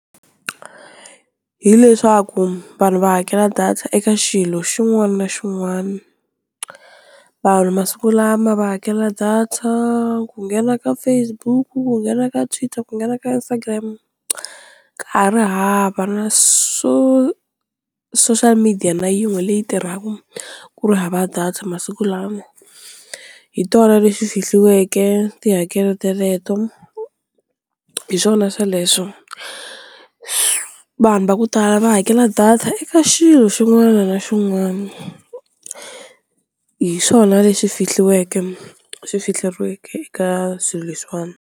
Hi leswaku vanhu va hakela data eka xilo xin'wana na xin'wana vanhu masiku lama va hakela data ku nghena ka Facebook, ku nghena ka Twitter, ku nghena ka Instagram ka ha ri hava na so social media na yin'we leyi tirhaka ku ri hava data masiku lama, hi tona leswi fihliweke tihakelo teleto hi swona sweleswo, vanhu va ku tala va hakela data eka xilo xin'wana na xin'wana hi swona leswi fihliweke swi fikeleriweke eka swilo leswiwani.